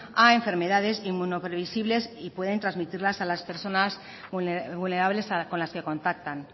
a enfermedades inmunoprevisibles y pueden transmitirlas a las personas vulnerables con las que contactan